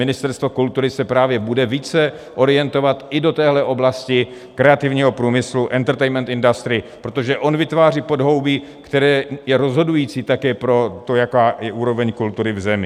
Ministerstvo kultury se právě bude více orientovat i do téhle oblasti kreativního průmyslu, entertainment industry, protože on vytváří podhoubí, které je rozhodující také pro to, jaká je úroveň kultury v zemi.